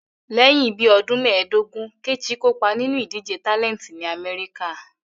Lẹ́yìn bí ọdún méẹ̀dógún, Kẹ́chì kopa ninu idije tálẹntì ní Amẹ́ríkà